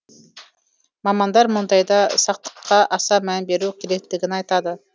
мамандар мұндайда сақтыққа аса мән беру керектігін айтады